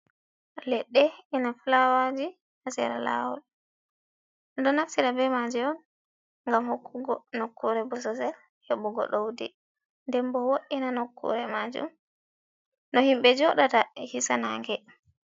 "Ledde ina fulawaji ha sera lawol ɗum ɗo naftira be maji on ngam hokkugo nokkure bososel hebugo doudi denbo woɗina nokkure majum no himɓe jodata hisa nage.